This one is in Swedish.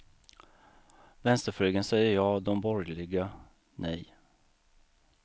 Vänsterflygeln säger ja, de borgerliga nej.